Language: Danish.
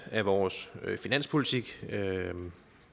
at vores finanspolitik